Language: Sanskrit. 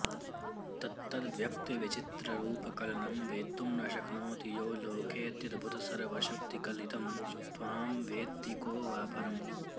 तत्तद्व्यक्तिविचित्ररूपकलनं वेत्तुं न शक्नाति यो लोकेऽत्यद्भुतसर्वशक्तिकलितं त्वां वेत्ति को वा परम्